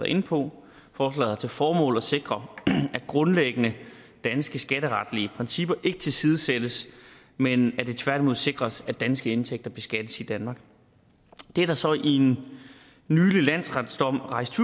inde på forslaget har til formål at sikre at grundlæggende danske skatteretlige principper ikke tilsidesættes men at det tværtimod sikres at danske indtægter beskattes i danmark det er der så i en nylig landsretsdom rejst